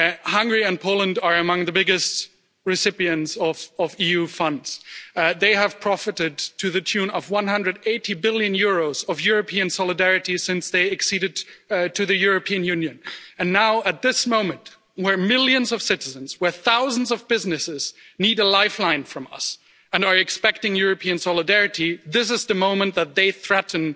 Hungary and Poland are among the biggest recipients of EU funds. They have profited to the tune of EUR 180 billion of European solidarity since they acceded to the European Union and now, at this moment, where millions of citizens, where thousands of businesses need a lifeline from us and are expecting European solidarity, this is the moment that they threaten